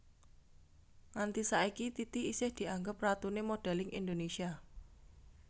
Nganti saiki Titi isih dianggep ratuné modèlling Indonésia